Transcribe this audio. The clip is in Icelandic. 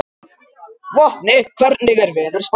Vopni, hvernig er veðurspáin?